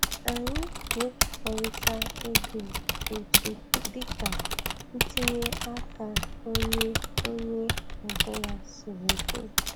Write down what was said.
Anyị na-ekekọrịta ego otu dị ka ntinye aka onye onye ọ bụla siri dị.